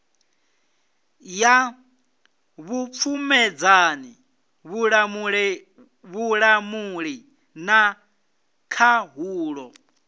ya vhupfumedzani vhulamuli na khaṱhulo